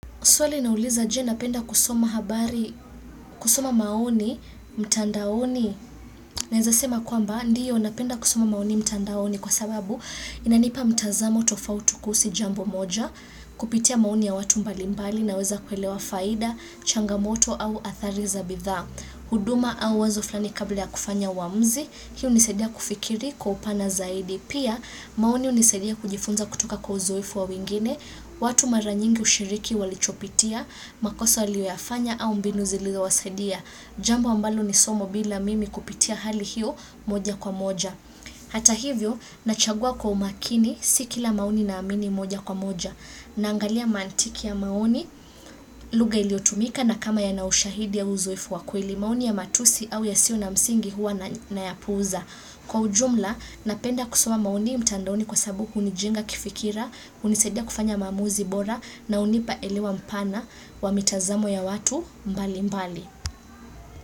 Swali nauliza je napenda kusoma habari, kusoma maoni mtandaoni, naweza sema kwamba ndiyo napenda kusoma maoni mtandaoni kwa sababu inanipa mtazamo tofauti kuhusu jambo moja. Kupitia maoni ya watu mbalimbali naweza kuelewa faida, changamoto au athari za bidhaa, huduma au wazo fulani kabla ya kufanya uamuzi, hii hunisaidia kufikiri kwa upana zaidi. Pia, maoni hunisaidia kujifunza kutoka kwa uzoefu wa wengine, watu mara nyingi hushiriki walichopitia, makosa waliyoyafanya au mbinu zilizowasaidia. Jambo ambalo ni somo bila mimi kupitia hali hiyo moja kwa moja. Hata hivyo, nachagua kwa umakini, si kila maoni naamini moja kwa moja. Naangalia mantiki ya maoni, lugha iliyotumika na kama yana ushahidi ya uzoefu wa kweli. Maoni ya matusi au yasiyo na msingi huwa nayapuuza. Kwa ujumla, napenda kusoma maoni mtandaoni kwa sababu hunijenga kifikira, hunisaidia kufanya maamuzi bora na hunipa elewa mpana wa mitazamo ya watu mbali mbali.